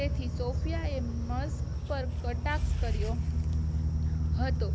તેથી સૉફયાએ મજાક પર કટાક્ષ કર્યો હતો